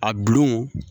A bulon